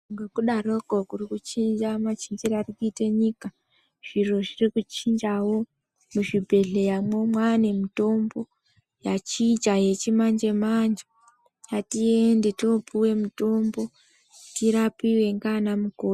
Ngokudaroko kuri kuchinja machinjire ari kuita nyika zviro zviri kuchinjawo. Muzvibhedhleyamwo mwane mutombo yachinja yechimanje manje ngatiende toopuwe mutombo tirapiwe ngaana mukoti.